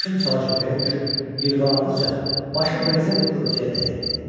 Maşın çala-çökəyə düşüb, yırğalandıqca, başı brezent örtüyə dəyirdi.